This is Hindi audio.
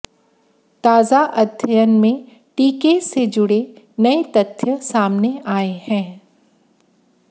ताजा अध्ययन में टीके से जुड़े नए तथ्य सामने आए हैं